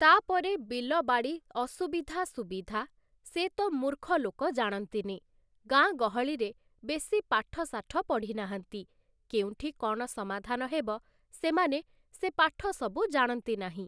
ତା'ପରେ ବିଲବାଡ଼ି ଅସୁବିଧା ସୁବିଧା, ସେ ତ ମୂର୍ଖ ଲୋକ ଜାଣନ୍ତିନି । ଗାଁଗହଳିରେ ବେଶି ପାଠ ଶାଠ ପଢ଼ିନାହାନ୍ତି, କେଉଁଠି କ'ଣ ସମାଧାନ ହେବ, ସେମାନେ ସେ ପାଠ ସବୁ ଜାଣନ୍ତି ନାହିଁ ।